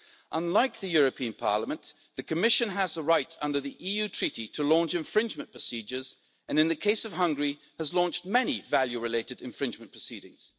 Unlike the European Parliament, the Commission has a right under the Treaty on European Union to launch infringement procedures and, in the case of Hungary, has launched many value related infringement proceedings.